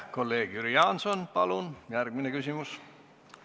Kolleeg Jüri Jaanson, palun järgmine küsimus!